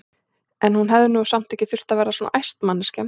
En hún hefði nú samt ekki þurft að verða svona æst, manneskjan!